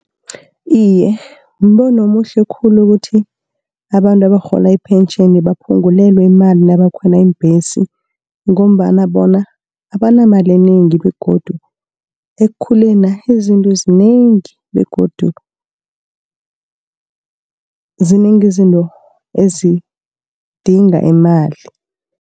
Iye mbono omuhle khulu ukuthi, abantu abarhola iphentjheni baphungulelwe imali nabakhwela iimbhesi, ngombana bona abanamali enengi, begodu ekukhulena' izinto zinengi, begodu zinengi izinto ezidinga imali.